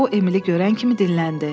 O Emili görən kimi dinləndi.